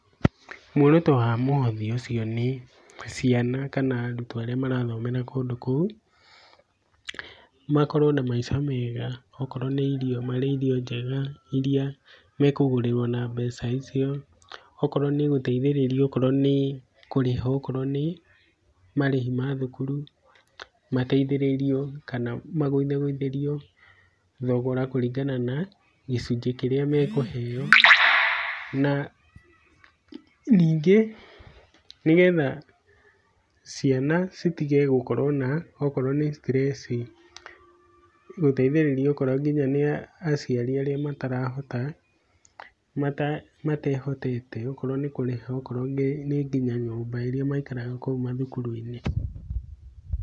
Muoroto wa mũhothi ũcio nĩ ciana kana arutwo arĩa marathomera kũndũ kũu, makorwo na maica mega okorwo nĩ irio marĩe irio njega iria mekũgũrĩrwo na mbeca icio, okorwo nĩ gũteithĩrĩrio okorwo nĩ kũrĩha okorwo nĩ marĩhi ma thukuru mateithĩrĩrio kana magũithagũithĩrio thogora kũringana na gĩcunjĩ kĩrĩa mekũheo, na ningĩ nĩgetha ciana citige gũkorwo na okorwo nĩ stress gũteithĩrĩria okorwo nginya nĩ aciari arĩa matarahota, matehotete okorwo nĩ kũrĩha okorwo nĩ nginya nyũmba ĩrĩa maikaraga kou mathukuru-inĩ.